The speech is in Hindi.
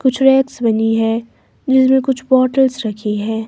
कुछ रैक्स बनी है जिसमें कुछ बॉटल्स रखी है।